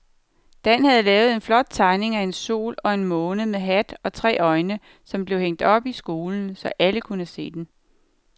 Dan havde lavet en flot tegning af en sol og en måne med hat og tre øjne, som blev hængt op i skolen, så alle kunne se den.